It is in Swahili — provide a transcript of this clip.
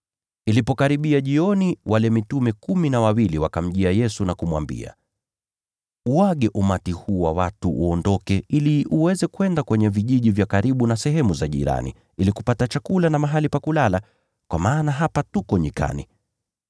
Ilipokaribia jioni, wale mitume kumi na wawili wakaenda kwa Yesu na kumwambia, “Waage makutano ili waende vijijini jirani na mashambani, ili wapate chakula na mahali pa kulala, kwa maana hapa tuko nyikani.”